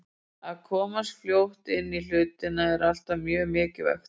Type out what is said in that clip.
Að komast fljótt inn í hlutina er alltaf mjög mikilvægt.